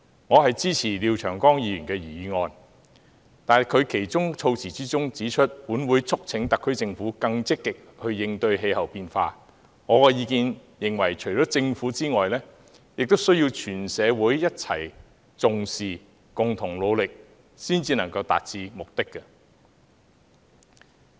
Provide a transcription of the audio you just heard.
我支持廖長江議員的原議案，但對其議案中指"本會促請特區政府更積極應對氣候變化"，我認為除了政府外，全社會亦要一起重視，共同努力才能達到目的。